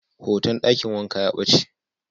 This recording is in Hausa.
Hoton dakin wanka ya bace.